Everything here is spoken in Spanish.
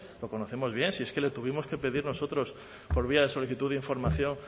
lo conocemos bien si es que le tuvimos que pedir nosotros por vía de solicitud de información